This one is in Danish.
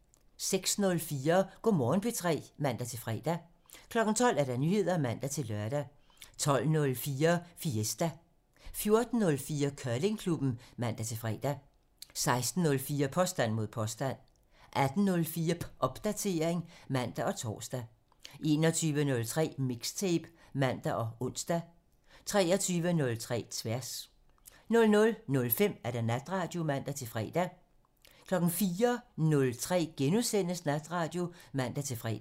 06:04: Go' Morgen P3 (man-fre) 12:00: Nyheder (man-lør) 12:04: Fiesta (Afs. 49) 14:04: Curlingklubben (man-fre) 16:04: Påstand mod påstand (Afs. 162) 18:04: Popdatering (man og tor) 21:03: Mixtape (man og ons) 23:03: Tværs 00:05: Natradio (man-fre) 04:03: Natradio *(man-fre)